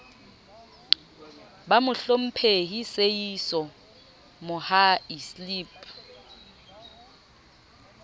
ba mohlomphehi seeiso mohai slp